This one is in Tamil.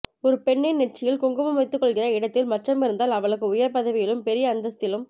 ஒரு பெண்ணின் நெற்றியில் குங்குமம் வைத்துக் கொள்கிற இடத்தில் மச்சம் இருந்தால் அவளுக்கு உயர் பதவியிலும் பெரிய அந்தஸ்திலும்